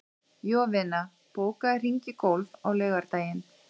Jovina, bókaðu hring í golf á laugardaginn.